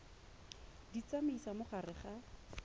di tsamaisa mo gare ga